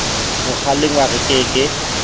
ho kgalengwa re ke ke